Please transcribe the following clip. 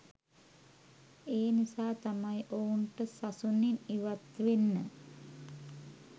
ඒ නිසා තමයි ඔවුන්ට සසුනින් ඉවත් වෙන්න